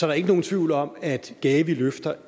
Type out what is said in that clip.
er ikke nogen tvivl om at gavi løfter